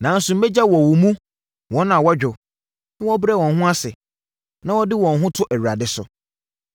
Nanso mɛgya wɔ wo mu wɔn a wɔdwo na wɔbrɛ wɔn ho ase, na wɔde wɔn ho to Awurade so.